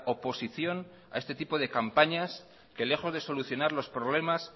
oposición a este tipo de campañas que lejos de solucionar los problemas